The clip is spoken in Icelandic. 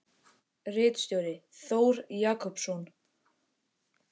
Ritstjóri: Þór Jakobsson.